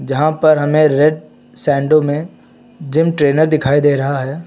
यहां पर हमें रेड सांडों में जिम ट्रेनर दिखाई दे रहा है।